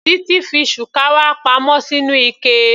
Titi fi shukawa pa mọ́ sínú ike.